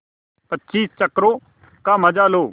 पच्चीस चक्करों का मजा लो